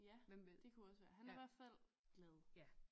Ja det kunne også være han er i hvert fald glad